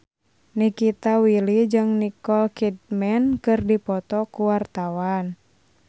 Nikita Willy jeung Nicole Kidman keur dipoto ku wartawan